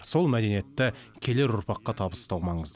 сол мәдениетті келер ұрпаққа табыстау маңызды